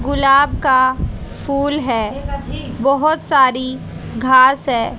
गुलाब का फूल है बहोत सारी घास है।